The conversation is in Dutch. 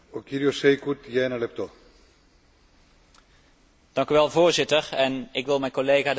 Voorzitter, ik wil mijn collega De Lange bedanken voor haar verslag over Europese biodiversiteit.